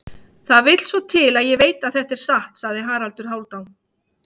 Það vill svo til að ég veit þetta er satt, sagði Haraldur Hálfdán.